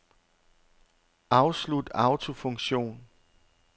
Afslut autofunktion.